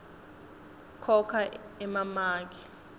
khokha emamaki